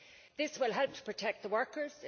This will help to protect the workers.